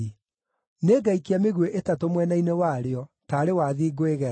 Nĩngaikia mĩguĩ ĩtatũ mwena-inĩ warĩo, taarĩ wathi ngwĩgera.